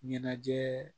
Ɲɛnajɛ